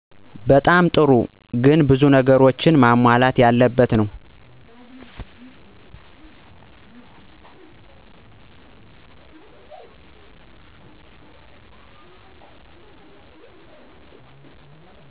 በጣም ጥሩ ግን ብዙ ነገሮች መሟላት ያለበት ነው።